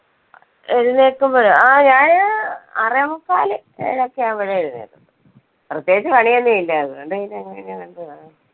എഴുന്നേൽക്കുമ്പഴോ ആ ഞാന് ആറേ മുക്കാല് ഏഴൊക്കെ ആകുമ്പഴേ എഴുന്നേൽക്കും. പ്രേത്യേകിച്ച് പണി ഒന്നും ഇല്ല അതുകൊണ്ട് പിന്നെ അങ്ങനെ അങ്ങ് പോണു.